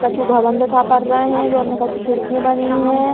कछु भवन दिखा पर रहे हैं जोन में कछु खिड़कियाँ बनी हैं।